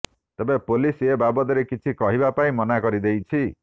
ତେବେ ପୋଲିସ ଏ ବାବଦରେ କିଛି କହିବା ପାଇଁ ମନା କରି ଦେଇଛି